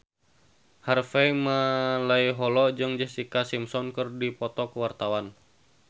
Harvey Malaiholo jeung Jessica Simpson keur dipoto ku wartawan